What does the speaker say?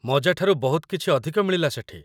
ମଜା ଠାରୁ ବହୁତ କିଛି ଅଧିକ ମିଳିଲା ସେଠି !